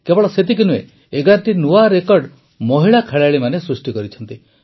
କେବଳ ସେତିକି ନୁହେଁ ୧୧ଟି ନୂଆ ରେକର୍ଡ଼ ମହିଳା ଖେଳାଳିମାନେ ସୃଷ୍ଟି କରିଛନ୍ତି